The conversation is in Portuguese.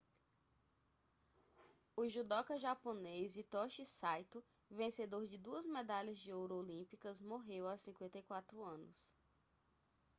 o judoca japonês hitoshi saito vencedor de duas medalhas de ouro olímpicas morreu aos 54 anos